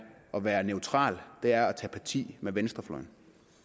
at være neutral det er at tage parti venstrefløjen